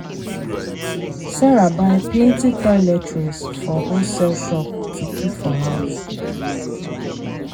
sarah buy plenty toiletries for wholesale shop to kip for house.